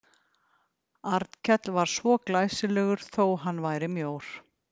Arnkell var svo glæsilegur þó að hann væri mjór.